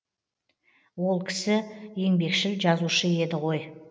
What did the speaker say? ол кісі еңбекшіл жазушы еді ғой